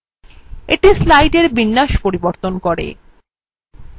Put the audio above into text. এটি slide বিন্যাস পরিবর্তন করে